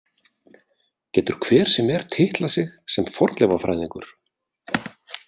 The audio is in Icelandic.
Getur hver sem er titlað sig sem fornleifafræðingur?